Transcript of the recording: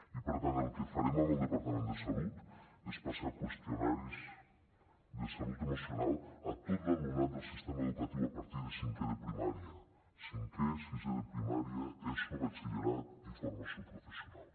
i per tant el que farem amb el departament de salut és passar qüestionaris de salut emocional a tot l’alumnat del sistema educatiu a partir de cinquè de primària cinquè sisè de primària eso batxillerat i formació professional